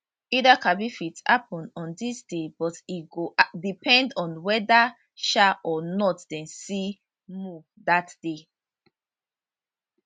el kabirfit happun on dis day but e go depend on weda um or not dem see moon dat day